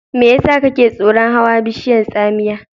Me yasa kake tsoron hawa bishiyar tsamiya?